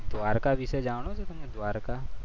દ્વારકાધીશ વિશે જાણો છો તમે દ્વારકા.